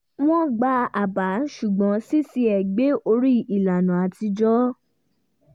wọ́n gba àbá ṣùgbọ́n ṣíṣe é gbé orí ìlànà atijọ́